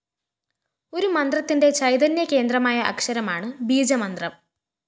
ഒരു മന്ത്രത്തിന്റെ ചൈതന്യകേന്ദ്രമായ അക്ഷരമാണു ബീജമന്ത്രം